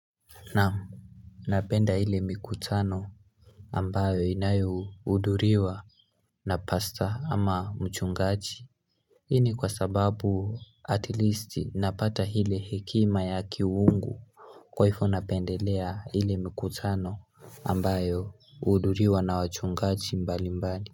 Naam, napenda ile mikutano ambayo inayo hudhuriwa na pasta ama mchungaji Hii ni kwa sababu at least napata hile hekima ya kiwungu kwaifo napendelea ile mikutano ambayo huudhuriwa na wachungaji mbali mbali.